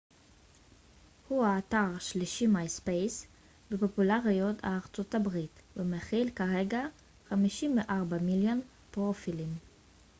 myspace הוא האתר השלישי בפופולריות בארצות הברית ומכיל כרגע 54 מיליון פרופילים